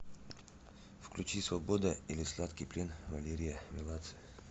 включи свобода или сладкий плен валерия меладзе